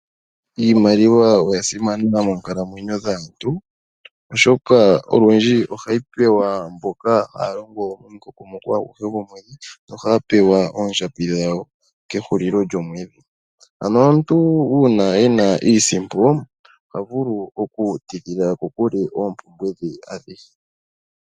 Iimaliwa oya simana moonkamamwenyo dhaantu oshoka olundji ohayi pewa mboka haa longo omukokomoko aguhe go mwedhi, no haya pewa oondjambi dha wo ke hulilo lyo mwedhi. Ano omuntu ena iisimpo, oha vulu oku tidhila ko kuke oompumbwe dhe a dhihe.